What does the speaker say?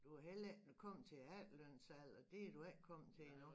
Du har heller ikke kommet til efterlønsalder det du ikke kommet til endnu